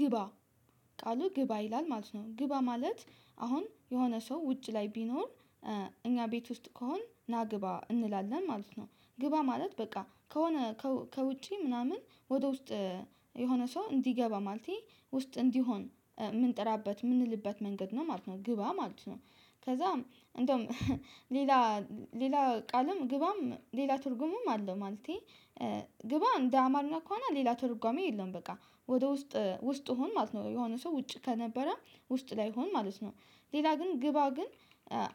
ግባ ቃሉ ግባ ይላል ማለት ነው። ግባ ማለት አሁን የሆነ ሰው ውጭ ላይ ቢኖር እኛ ቤት ውስጥ ከሆን ናግባ እንላለን ማለት ነው። ግባ ማለት በቃ ከሆነ ከውጪ ምናምን ወደ ውስጥ የሆነ ሰው እንዲገባ ማለቴ ውስጥ እንዲሆን የምንጥራበት የምንልበት መንገድ ነው ማለት ነው ግባ ማለት ነው። ከዛም እንደውም ሌላ ሌላ ቃልም ግባም ሌላ ትርጉምም አለ ማለቴ። ግባ እንደ አማርኛ ከሆነ ሌላ ትርጓሜ የለም በቃ ወደ ውስጥ ውስጥ ሁን ማለት ነው የሆነ ሰው ውጭ ከነበረ ውስጥ ላይ ሆን ማለት ነው። ሌላ ግን ግባ ግን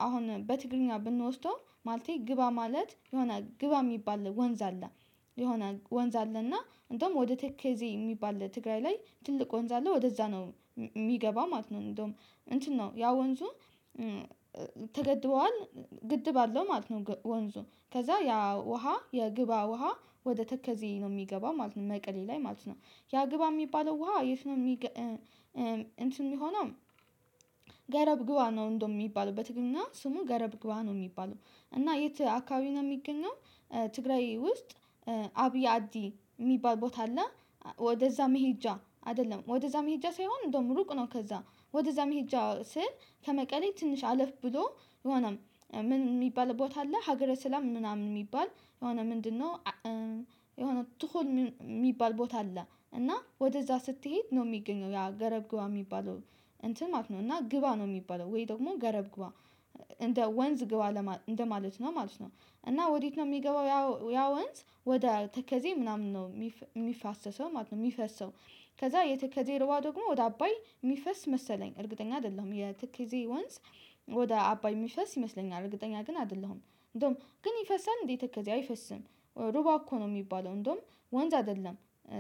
አሁን በትግርኛ ብንወስደው ማለቴ ግባ ማለት የሆነ ግባ የሚባል ወንዝ አለ። የሆነ ወንዝ አለ እና እንደውም ወደ ተከዜ የሚባል ትግራይ ላይ ትልቅ ወንዝ አለ ወደዛ ነው የሚገባ ማለት ነው። እንደውም እንትን ነው ያው ወንዙ ተገድቧል ግድብ አለው ማለት ነው። ወንዙ ከዛ ያ ውሃ የግብአ ውሃ ወደ ተከዜ ነው የሚገባው ማለት ነው። መቀሌ ላይ ማለት ነው ያ ግብአ የሚባለው ውሃ የት የሚገ እንትን የሚሆነው። ገረብ ግባ ነው እንደው የሚባለው በትግርኛ ስሙ ገረብ ግባ ነው የሚባለው። እና የት አካባቢ ነው የሚገኘው? ትግራይ ውስጥ ዓብይ አዲ የሚባል ቦታ አለ። ወደዛ መሄጃ አይደለም ወደዛ መሄጃ ሳይሆን እንደውም ሩቅ ነው ከዛ። ወደዛ መሄጃ ስል ከመቀሌ ትንሽ አለፍ ብሎ የሆነም ምን የሚባል ቦታ አለ ሀገረ ሰላም ምናምን የሚባል የሆነ ምንድንነው? የሆነ ትሁን የሚባል ቦታ አለ እና ወደዛ ስትሄድ ነው የሚገኘው ያ ገረብ ግባ የሚባለው። እንትን ማለት ነው እና ግባ ነው የሚባለው ወይ ደግሞ ገረብግባ እንደ ወንዝ ግባ ለማ እንደ ማለት ነው ማለት ነው። እና ወዴት ነው የሚገባው ያ ወንዝ ወደ ተከዜ ምናምን ነው የሚ የሚፋሰሰው ማለት ነው የሚፈሰው። ከዛ የተከዜ ውሃ ደግሞ ወደ አባይ የሚፈስ መሰለኝ እርግጠኛ አይደለሁም የተከዜ ወንዝ። ወደ አባይ የሚፈስ ይመስለኛል እርግጠኛ ግን አይደለሁም እንደውም ግን ይፈሳል እንዴት ተከዜ አይፈስም? ሩባ እኮ ነው የሚባለው እንደውም ወንዝ አይደለም።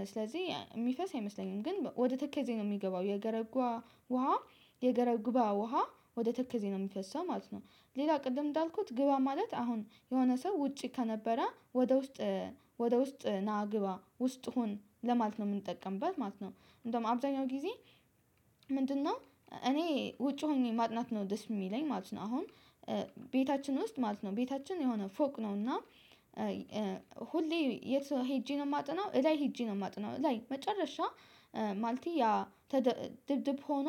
ስለዚህ የሚፈስ አይመስለኝም ግን ወደ ተከዜ ነው የሚገባው የገረጓ ውሃ የገረብግባ ውሃ ወደ ተከዜ ነው የሚፈሰው ማለት ነው። ሌላ ቅድም እንዳልኩት ግባ ማለት አሁን የሆነ ሰው ውጪ ከነበረ ወደ ውስጥ ወደ ውስጥ ና ግባ ውስጥ ሁን ለማለት ነው የምንጠቀምበት ማለት ነው። እንደውም አብዛኛው ጊዜ ምንድንነው? እኔ ውጪ ሆኜ ማጥናት ነው ደስ የሚለኝ ማለት ነው። አሁን ቤታችን ውስጥ ማለት ነው ቤታችን የሆነ ፎቅ ነው እና። ሁሌ የት ሄጄ ነው የማጠናው እላይ ሄጄ ነው የማጠናው እላይ መጨረሻ። ማለቴ ያ ተደ ድብድብ ሆኖ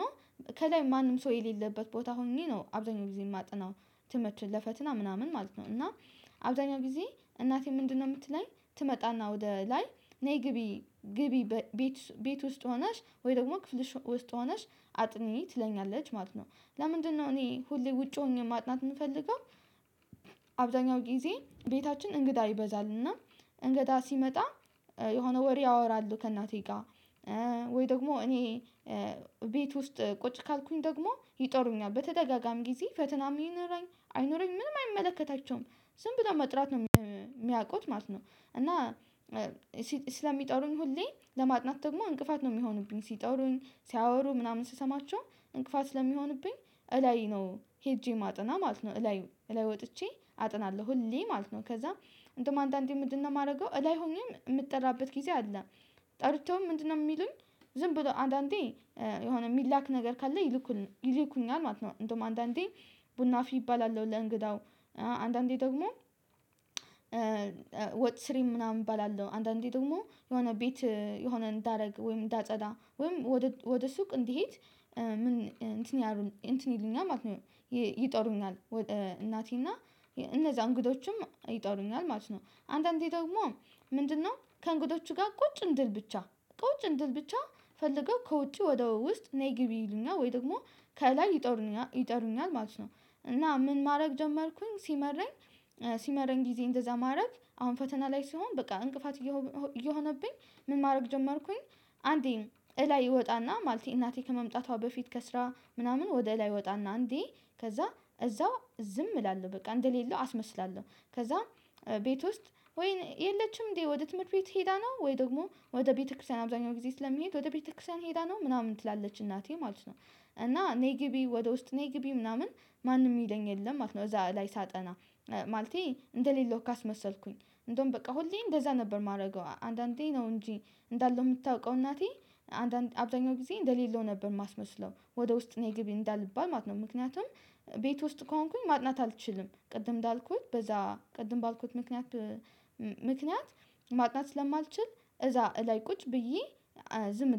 ከላይ ማንም ሰው የሌለበት ቦታ ሁኜ ነው አብዛኛው ጊዜ የማጠናው። ትምህርቱን ለፈተና ምናምን ማለት ነው። እና አብዛኛው ጊዜ እናቴ ምንድንነው የምትለኝ ትመጣና ወደ ላይ ነይ ግቢ ግቢ ቤት ቤት ውስጥ ሆነሽ ወይ ደግሞ ክፍልሽ ውስጥ ሆነሽ አጥኚ ትለኛለች ማለት ነው። ለምንድንነው እኔ ሁሌ ውጪ ሆኜ ማጥናት የምፈልገው? አብዛኛው ጊዜ ቤታችን እንግዳ ይበዛል እና። እንግዳ ሲመጣ የሆነ ወሬ ያወራል ከእናቴ ጋር። ወይ ደግሞ እኔ ቤት ውስጥ ቁጭ ካልኩኝ ደግሞ ይጠሩኛል በተደጋጋሚ ጊዜ ፈተናም ይኖራኝ አይኑረኝ ምንም አይመለከታቸውም። ዝም ብለው መጥራት ነው የሚያውቁት ማለት ነው። እና ስለሚጠሩኝ ሁሌ ለማጥናት ደግሞ እንቅፋት ነው የሚሆኑብኝ ሲጠሩኝ ሲያወሩ ምናምን ስሰማቸው እንቅፋት ስለሚሆንብኝ። እላይ ነው ሄጄ የማጠና ማለት ነው። እላይ እላይ ወጥቼ አጠናለሁ ሁሌ ማለት ነው። ከዛ እንደውም አንዳንዴ ምንድንነው የማደርገው እላይ ሆኜ የምጠራበት ጊዜ አለ። ጠርተውም ምንድንነው የሚሉኝ? ዝም ብለው አንዳንዴ የሆነ የሚላክ ነገር ካለ። ይልኩ ይልኩኛል ማለት ነው። እንደውም አንዳንዴ ቡና አፍሊ እባላለሁ ለእንግዳው። አንዳንዴ ደግሞ ወጥ ሥሪ ምናምን እባላለሁ አንዳንዴ ደግሞ የሆነ ቤት የሆነ እንዳደርግ ወይም እንዳጸዳ ወይም ወደ ሱቅ እንድሄድ ምን እንትን ያሩ እንትን ይሉኛል ማለት ነው። ይጠሩኛል እናቴና እነዛ እንግዶችም ይጠሩኛል ማለት ነው። አንዳንዴ ደግሞ ምንድንነው ከእንግዶቹ ጋር ቁጭ እንድል ብቻ ቁጭ እንድል ብቻ ፈልገው ከውጪ ወደ ውስጥ ነይ ግቢ ይሉኛል ወይ ደግሞ ከላይ ይጠሩኛል ይጠሩኛል ማለት ነው። እና ምን ማድረግ ጀመርኩኝ ሲመረኝ። ሲመረኝ ጊዜ እንደዛ ማረግ አሁን ፈተና ላይ ስሆን በቃ እንቅፋት እየሆ እየሆብኝ ምን ማድረግ ጀመርኩኝ። አንዴን እላይ እወጣና ማለቴ እናቴ ከመምጣቷ በፊት ከስራ ምናምን ወደ እላይ እወጣና አንዴ ከዛ እዛው ዝም እላለሁ በቃ እንደሌለው አስመስላለሁ ከዛ። ቤት ውስጥ ወይን የለችም እንዴ ወደ ትምህርት ቤት ሄዳ ነው ወይ ደግሞ ወደ ቤተክርስቲያን አብዛኛው ጊዜ ስለሚሄድ ወደ ቤተክርስቲያን ሄዳ ነው ምናምን ትላለች እናቴ ማለት ነው። እና ነይ ግቢ ወደ ውስጥ ነይ ግቢ ምናምን ማንም የሚለኝ ማለት ነው። እዛ ላይ ሳጠና ማለቴ እንደሌለው ካስመሰልኩኝ። እንደውም በቃ ሁሌ እንደዛ ነበር የማደርገው አንዳንዴ ነው እንጂ እንዳለው የምታውቀው እናቴ አንዳንድ አብዛኛው ጊዜ እንደሌለው ነበር የማስመስለው። ወደ ውስጥ ነይ ግቢ እንዳልባል ማለት ነው። ምክንያቱም ቤት ውስጥ ከሆንኩኝ ማጥናት አልችልም ቅድም እንዳልኩት በዛ ቅድም ባልኩት ምክንያት። ምክንያት ማጥናት ስለማልችል እዛ እላይ ቁጭ ብዬ። ዝም